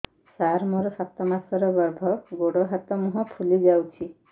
ସାର ମୋର ସାତ ମାସର ଗର୍ଭ ଗୋଡ଼ ହାତ ମୁହଁ ଫୁଲି ଯାଉଛି